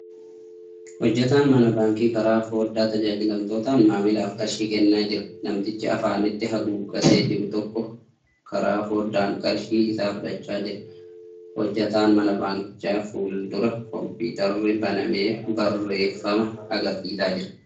Hojjataan mana baankii karaa fooddaa tajaajilamtootaan maamilaaf qarshii kennaa jira. Namtichi afaanitti haguuggatee jiru tokko karaa fooddaan qarshii isaa fudhachaa jira. Hojjataa mana baankichaa fuuldura kompiitarri banamee barreeffama agarsiisaa jira.